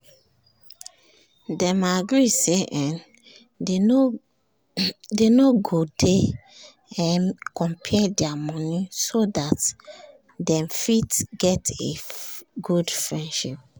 dem agree say um dey no go dey um compare their money so dat dem fit um get a good friendship